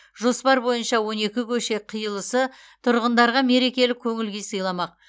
жоспар бойынша он екі көше қиылысы тұрғындарға мерекелік көңіл күй сыйламақ